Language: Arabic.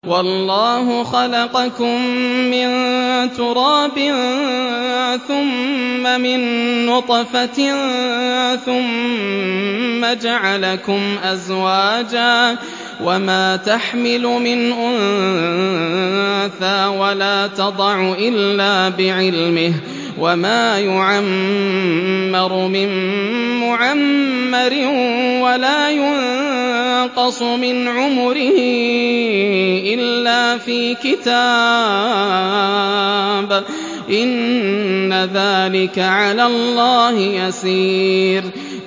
وَاللَّهُ خَلَقَكُم مِّن تُرَابٍ ثُمَّ مِن نُّطْفَةٍ ثُمَّ جَعَلَكُمْ أَزْوَاجًا ۚ وَمَا تَحْمِلُ مِنْ أُنثَىٰ وَلَا تَضَعُ إِلَّا بِعِلْمِهِ ۚ وَمَا يُعَمَّرُ مِن مُّعَمَّرٍ وَلَا يُنقَصُ مِنْ عُمُرِهِ إِلَّا فِي كِتَابٍ ۚ إِنَّ ذَٰلِكَ عَلَى اللَّهِ يَسِيرٌ